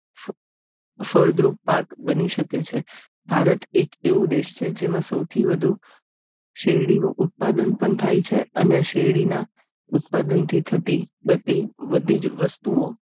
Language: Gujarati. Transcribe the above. ફળદ્રુપાક બની શકે છે ભારત એક એવું દેશ છે જેમાં સૌથી વધુ શેરડીનું ઉત્પાદન પણ થાય છે અને શેરડીના ઉત્પાદનથી થતી બધી જ વસ્તુઓ